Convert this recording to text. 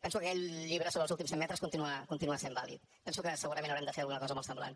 penso que aquest llibre sobre els últims cent metres continua sent vàlid penso que segurament haurem de fer alguna cosa molt semblant